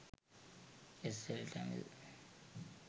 sl tamil